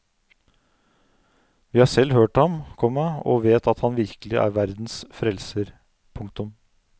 Vi har selv hørt ham, komma og vet at han virkelig er verdens frelser. punktum